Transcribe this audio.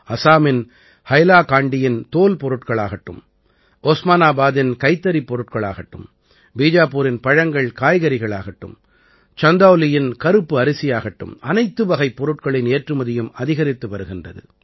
அஸாமின் ஹைலாகாண்டியின் தோல் பொருட்களாகட்டும் உஸ்மானாபாதின் கைத்தறிப் பொருட்களாகட்டும் பீஜாபூரின் பழங்கள்காய்கறிகளாகட்டும் சந்தௌலியின் கறுப்பு அரிசியாகட்டும் அனைத்து வகைப் பொருட்களின் ஏற்றுமதியும் அதிகரித்து வருகின்றது